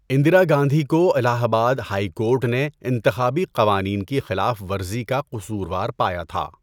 اندرا گاندھی کو Allahabad high court نے انتخابی قوانین کی خلاف ورزی کا قصوروار پایا تھا۔